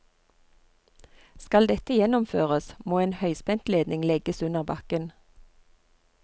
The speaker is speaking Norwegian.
Skal dette gjennomføres, må en høyspentledning legges under bakken.